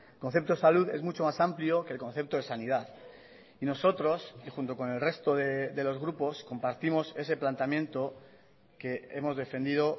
concepto de salud es mucho más amplio que el concepto de sanidad y nosotros y junto con el resto de los grupos compartimos ese planteamiento que hemos defendido